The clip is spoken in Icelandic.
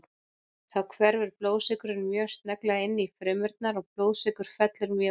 Þá hverfur blóðsykurinn mjög snögglega inn í frumurnar og blóðsykur fellur mjög ört.